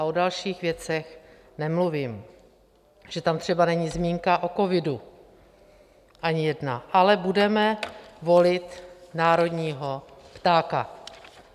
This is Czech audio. A o dalších věcech nemluvím, že tam třeba není zmínka o covidu ani jedna, ale budeme volit národního ptáka.